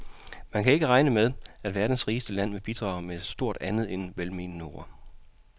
Man skal ikke regne med, at verdens rigeste land vil bidrage med stort andet end velmenende ord.